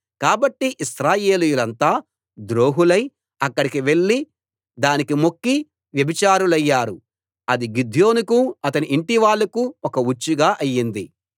కాబట్టి ఇశ్రాయేలీయులంతా ద్రోహులై అక్కడికి వెళ్ళి దానికి మొక్కి వ్యభిచారులయ్యారు అది గిద్యోనుకు అతని ఇంటివాళ్ళకు ఒక ఉచ్చుగా అయ్యింది